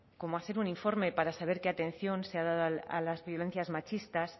como hacer un informe para saber qué atención se ha dado a las violencias machistas